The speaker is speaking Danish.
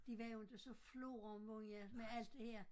De var jo inte så floromvundne med alt det her